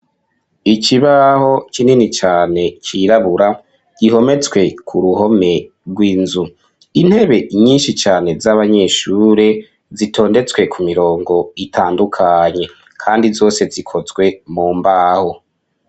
Ikibaho kinini cane cirabura gihometswe ku ruhome rw'inzu, intebe nyinshi cane z'abanyeshure zitondetswe ku mirongo itandukanye, kandi zose zikozwe mu mbaho.